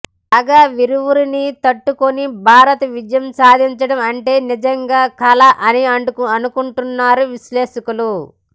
కాగా వీరిరువురిని తట్టుకొని భరత్ విజయం సాధించడం అంటే నిజంగా కల అని అనుకుంటున్నారు విశ్లేషకులు